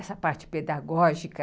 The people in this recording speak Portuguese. Essa parte pedagógica...